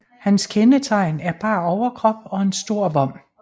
Hans kendetegn er bar overkrop og en stor vom